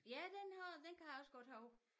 Ja den har den kan jeg også godt huske